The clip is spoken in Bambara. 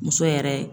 Muso yɛrɛ